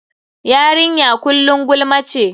Yarinya kullum gulma ce.